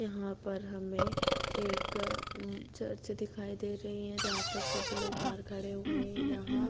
यहाँ पर हमें एक अ चर्च दिखाई दे रही है जहाँ पर सभी लोग बाहर खड़े हुए हैं यहाँ --